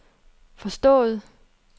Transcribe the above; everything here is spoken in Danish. forstået